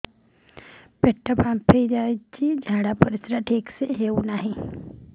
ପେଟ ଫାମ୍ପି ଯାଉଛି ଝାଡ଼ା ପରିସ୍ରା ଠିକ ସେ ହଉନି